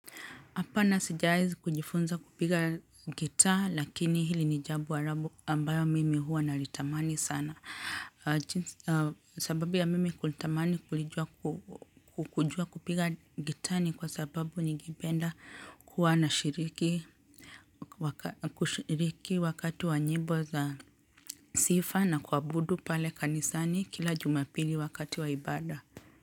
Hapana sijai kujifunza kupiga gita lakini hili nijambo arabu ambayo mimi hua nalitamani sana. Sababu ya mimi kutamani kulijua kupiga gita ni kwa sababu ningipenda kuwa na kushiriki wakati wa nyimbo za sifa na kuabudu pale kanisani kila jumapili wakati wa ibada.